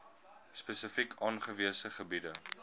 spesifiek aangewese gebiede